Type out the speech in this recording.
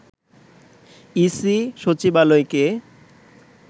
EC সচিবালয়কে